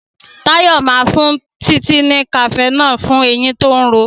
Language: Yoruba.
Tayo má fún Titi ní cafenol fún ẹyìn tó ń ró.